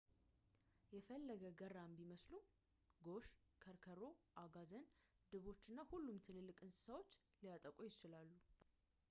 የፈለገ ገራም ቢመስሉም ጎሽ ከርከሮ አጋዘን ድቦች እና ሁሉም ትልቅ እንሰሳዎች ሊያጠቁ ይችላሉ